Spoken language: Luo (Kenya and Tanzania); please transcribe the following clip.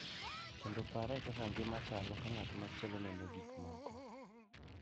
Kendo pare kaka ngima chalo ka ng’at machielo neno gik moko.